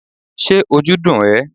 ṣe ojú dún e?